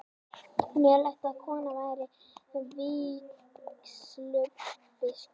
Mögulegt að kona verði vígslubiskup